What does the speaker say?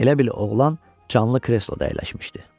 Elə bil oğlan canlı kresloda əyləşmişdi.